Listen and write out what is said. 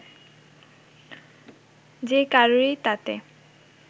যে কারুরই তাতে